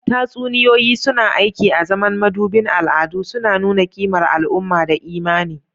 Tatsuniyoyi suna aiki azaman madubin al'adu, suna nuna kimar al'umma da imani.